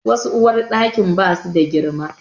Wasu uwarɗakin ba su da girma.